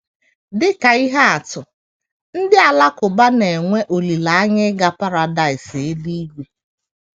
Dị ka ihe atụ, ndị Alakụba na - enwe olileanya ịga paradaịs eluigwe.